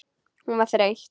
Hún var þreytt.